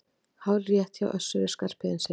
Hárrétt hjá Össuri Skarphéðinssyni!